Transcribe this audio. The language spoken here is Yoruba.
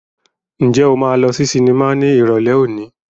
Ǹjẹ́ o máa lọ sí sinimá ní Ìrọ̀lẹ́ òní?